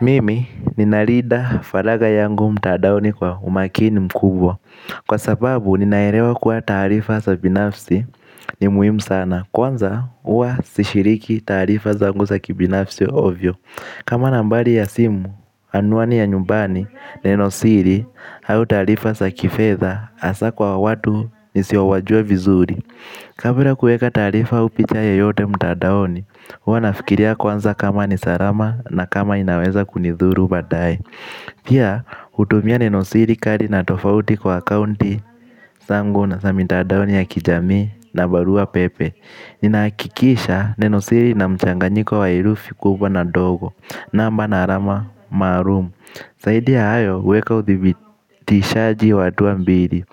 Mimi, ninarida falaga yangu mtadaoni kwa umakini mkubwa. Kwa sababu, ninaerewa kuwa tarifa sa binafsi ni muhimu sana. Kwanza, uwa sishiriki tarifa zangu sa kibinafsi ovyo. Kama nambari ya simu, anuani ya nyumbani, neno siri, au tarifa sa kifedha asa kwa watu nisiowajua vizuri. Kabla kuweka taarifa au picha yoyote mtandaoni huwa nafikiria kwanza kama ni salama na kama inaweza kunithuru baadaye. Pia hutumia nenosiri kali na tofauti kwa akaunti zangu na mitandao ya kijamii na barua pepe. Nina hakikisha nenosiri ina mchanganyiko wa herufi kubwa na ndogo namba na alama maalum zaidi ya hayo huweka uthibitishaji wa hatu mbili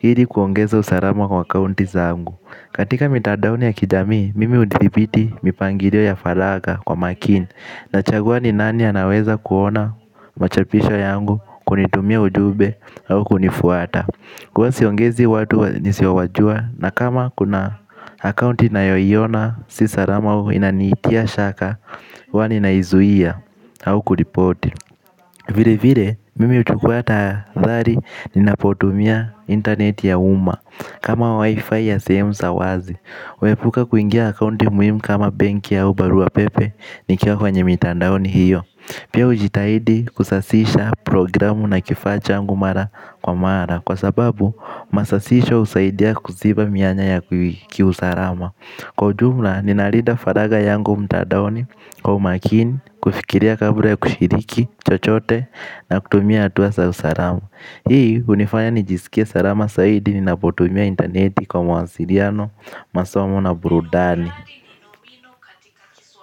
ili kuongeza usalama kwa akaunti zangu. Katika mitandao ya kijamii, mimi hudhibiti mipangilio ya faragha kwa makini. Nachagua ni nani anaweza kuona machapisho yangu kunitumia ujumbe au kunifuata. Kwa hivyo siongezi watu nisiowajua na kama kuna akaunti ninayoiona si salama au inanitia shaka, huwa ninaizuia au kuripoti. Vile vile, mimi huchukua tahadhari ninapotumia internet ya uma. Kama wifi ya sehemu za wazi, huepuka kuingia kwenye akaunti muhimu kama benki au barua pepe ni kiwa kwenye mitandao hiyo. Pia hujitahidi kusasisha programu na kifaa changu mara kwa mara kwa sababu, masasisho husaidia kuziba mianya ya kiusalama. Kwa jumla, ninalinda faragha yangu mtandaoni kwa umakini, kufikiria kabla ya kushiriki, chochote na kutumia hatua za usalama. Hii hunifanya nijisikie salama zaidi ninapotumia intaneti kwa mawasiliano masomo na burudani.